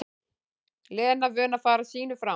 Lena vön að fara sínu fram.